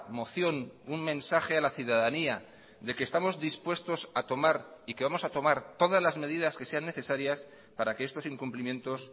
moción un mensaje a la ciudadanía de que estamos dispuestos a tomar y que vamos a tomar todas las medidas que sean necesarias para que estos incumplimientos